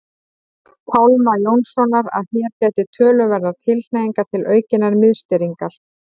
Pálma Jónssonar að hér gætir töluverðrar tilhneigingar til aukinnar miðstýringar.